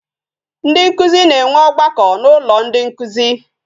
Ndị nkụzi na-enwe ọgbakọ n'ụlọ ndị nkụzi